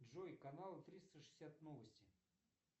джой канал триста шестьдесят новости